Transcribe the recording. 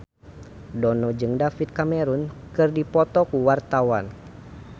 Dono jeung David Cameron keur dipoto ku wartawan